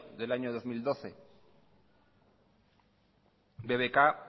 del año dos mil doce bbk